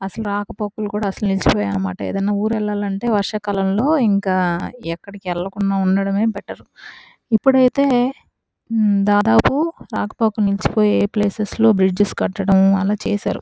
అసలు రాక పోకలు కూడ అసలు నిలిచిపోయాయి అన్నమాట ఏదైన ఊరు ఎల్లాలంటే వర్ష కాలంలో ఇంకా వెళ్లకుండా ఉండడమే బెటర్ ఇప్పుడైతే దాదాపు రాక పోకలు నిల్చిపోయాయ్ ప్లేసెస్ బ్రిడ్జెస్ కట్టడం అలా చేసారు.